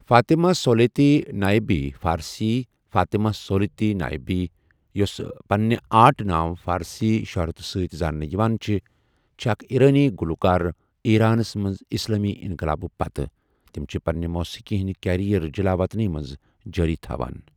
Fatima Solati نایبی فارسی Fatemeh Solati نایبی ، یُس پننہٕ آرٹ نام فارسی شۄہرت سۭتۍ زاننہٕ یوان چھِ، چھ اَکھ ایرانی گلوکار ایرانس مَنٛز اسلامی انقلابہٕ پتہٕ، تم چھِ پننہٕ موٗسیٖقی ہنٛد کیریئر جلاوطن مَنٛز جاری تھاوان۔